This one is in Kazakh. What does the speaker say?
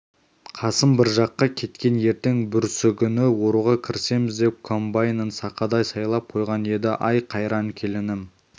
қасым бір жаққа кеткен ертең-бүрсігүні оруға кірісеміз деп комбайнын сақадай сайлап қойған еді ай қайран келінім